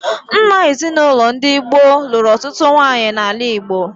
Nna ezinaụlọ ndị gboo lụrụ ọtụtụ nwaanyị n'ala Igbo.